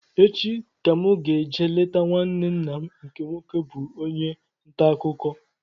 Echi ka mụ ga-eje leta nwanne nna m nke nwoke bụ onye ntaakụkọ